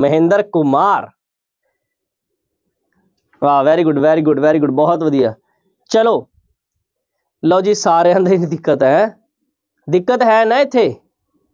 ਮਹਿੰਦਰ ਕੁਮਾਰ ਵਾਹ very good, very good, very good ਬਹੁਤ ਵਧੀਆ ਚਲੋ ਲਓ ਜੀ ਸਾਰਿਆਂ ਦਿੱਕਤ ਹੈੈ ਦਿੱਕਤ ਹੈ ਨਾ ਇੱਥੇ,